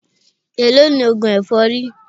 Èló ni oògùn èfọ́rí?